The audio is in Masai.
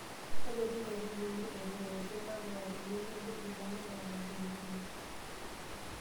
Tadotu nkaitubulu etu ewoshuu ntapuka peyie medoiki ilanterera enkulupuoni.